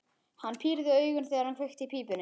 Hann pírði augun, þegar hann kveikti í pípunni.